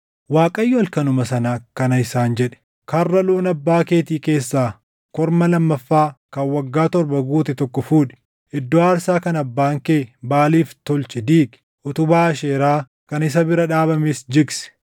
Waaqayyo halkanuma sana akkana isaan jedhe; “Karra loon abbaa keetii keessaa korma lammaffaa kan waggaa torba guute tokko fuudhi. Iddoo aarsaa kan abbaan kee Baʼaaliif tolche diigi; utubaa Aasheeraa kan isa bira dhaabames jigsi.